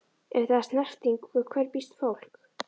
Ef það er snerting- við hverju býst fólk?